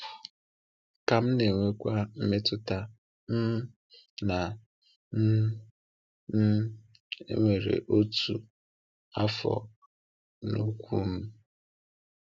Ka m na-enwekwa mmetụta um na um um e nwere ọtụtụ afọ n’ụkwụ m.